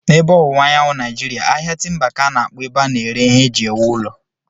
N'ebe Ọwụwa Anyanwụ Naịjiria, ahịa timba ka a na-akpọ ebe a na-ere ihe eji ewu ụlọ.